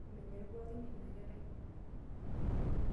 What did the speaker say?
Menyorr pookin ina kerai.